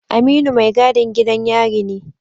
Aminu mai gadin gidan yari ne